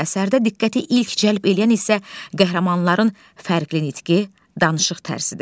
Əsərdə diqqəti ilk cəlb eləyən isə qəhrəmanların fərqli nitqi, danışıq tərzidir.